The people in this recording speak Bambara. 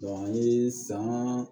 an ye san